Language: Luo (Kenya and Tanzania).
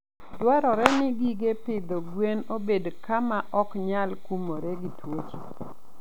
Dwarore ni gige pidho gwen obed kama ok onyal kumoree gi tuoche.